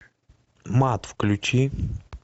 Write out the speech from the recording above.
мат включи